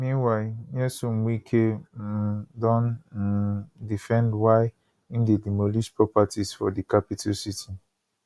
meanwhile nyesom wike um don um defend why im dey demolish properties for di capital city